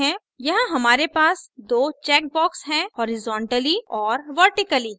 यहाँ हमारे पास दो check boxes हैं हॉरिज़ोंटली horizontally और vertically vertically